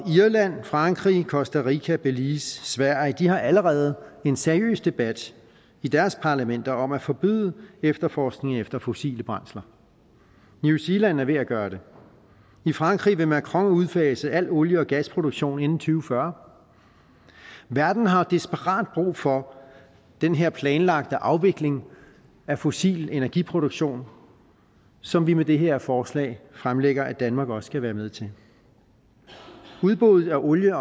irland frankrig costa rica belize og sverige har allerede en seriøs debat i deres parlamenter om at forbyde efterforskning efter fossile brændsler og new zealand er ved at gøre det i frankrig vil macron udfase al olie og gasproduktion inden to fyrre verden har desperat brug for den her planlagte afvikling af fossil energiproduktion som vi med det her forslag fremlægger at danmark også skal være med til udbuddet af olie